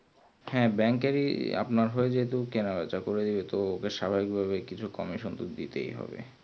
হ্যাঁ bank এরই আপনার হয় যেহুতু কেনা বেচা করি তো স্বাভাবিক ভাবে কিছু commission তো দিতেই হবে